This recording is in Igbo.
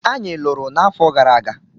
Anyị lụrụ n'afọ gara aga.